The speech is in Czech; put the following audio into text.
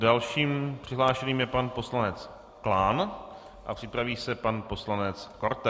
Dalším přihlášeným je pan poslanec Klán a připraví se pan poslanec Korte.